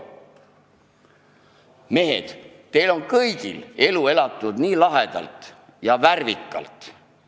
Mehed, teil on kõigil elu elatud lahedalt ja värvikalt.